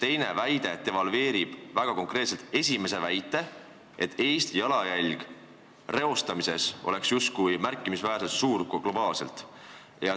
Teine väide devalveerib väga konkreetselt ju esimese väite, et Eesti jalajälg reostamises oleks justkui ka globaalselt märkimisväärselt suur.